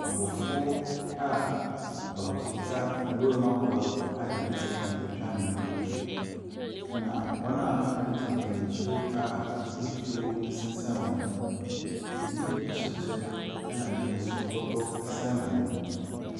Abɔfoɔ a baako kita nwuram aboa a yɛde sikan etwa ne mini. Na wɔn a aka no gyina gyina akyire a ebi tuo ɛsesan wɔn ho. Ɛbo ɛhyɛ kyɛ ɛna ebi nso bɔtɔ ɛsan wɔn ho.